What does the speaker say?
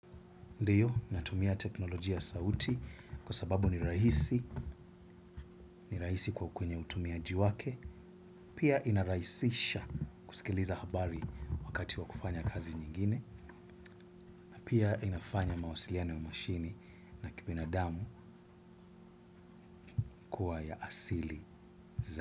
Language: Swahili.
Ndiyo, natumia teknolojia sauti kwa sababu ni rahisi, ni rahisi kwa kwenye utumia jiwake, pia inaraisisha kusikiliza habari wakati wa kufanya kazi nyingine, pia inafanya mawasiliano ya mashini na kibina damu kuwa ya asili za.